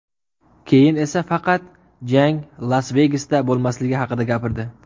Keyin esa faqat jang Las-Vegasda bo‘lmasligi haqida gapirdi.